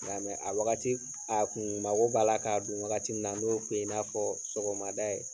Nga a wagati a kun mako b'a la ka don wagati na n'o kun ye i n'a fɔ sɔgɔmada ye